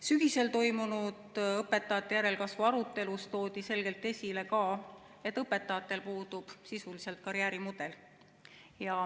Sügisel toimunud õpetajate järelkasvu arutelus toodi selgelt esile ka seda, et õpetajatel puudub sisuliselt karjäärimudel.